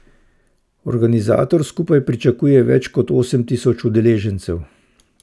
Organizator skupaj pričakuje več kot osem tisoč udeležencev.